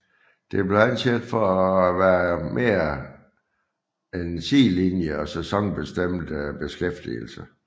Det blev anset for at være mere en sidelinje og sæsonbestemt beskæftigelse